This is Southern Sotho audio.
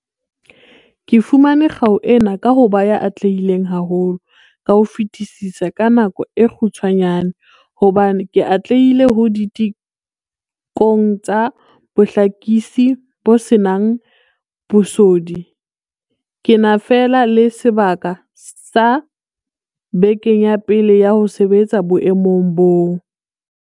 "Ke fumane kgau ena ka ho ba ya atlehileng haholo ka ho fetisisa ka nako e kgutshwanyane hobane ke atlehile ho ditekong tsa bohlakisi bo se nang bosodi ke na fela le sebaka sa bekeng ya pele ya ho sebetsa boemong boo."